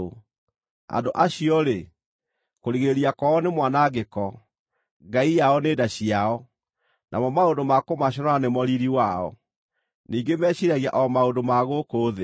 Andũ acio-rĩ, kũrigĩrĩria kwao nĩ mwanangĩko, ngai yao nĩ nda ciao, namo maũndũ ma kũmaconora nĩmo riiri wao. Ningĩ meciiragia o maũndũ ma gũkũ thĩ.